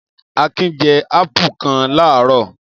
Akin jẹ́ ápù kan láàárọ̀.